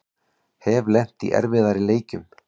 Hef lent í erfiðari leikjum